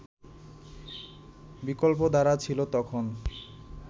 বিকল্পধারা ছিল তখন